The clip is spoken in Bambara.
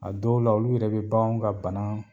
A dɔw la olu yɛrɛ be baganw ka banaa